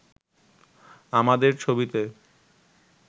আমাদের ছবিতে